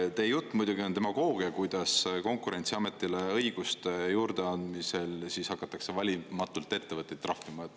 Teie jutt on muidugi demagoogia, kuidas Konkurentsiametile õiguste juurde andmisel hakatakse valimatult ettevõtteid trahvima.